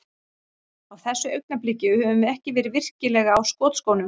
Á þessu augnabliki, höfum við ekki verið virkilega á skotskónum.